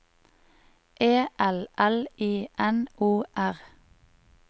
E L L I N O R